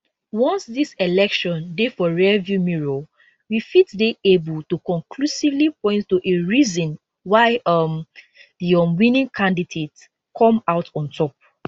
once dis election dey for rearview mirror we fit dey able to conclusively point to a reason why um di um winning candidate come out on top